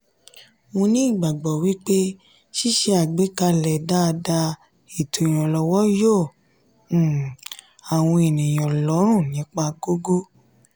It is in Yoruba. mo ní ìgbàgbọ́ wípé sise àgbékalẹ̀ daada eto ìrànlọ́wọ́ yo um àwọn ènìyàn lọ́rùn nípa gógó.